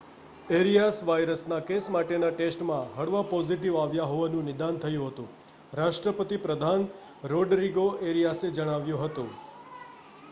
areas વાયરસનાં કેસ માટેનાં ટેસ્ટમાં હળવા પોઝિટિવ આવ્યાં હોવાનું નિદાન થયું હતું રાષ્ટ્રપતિ પ્રધાન રોડરિગો એરિયાસે જણાવ્યું હતું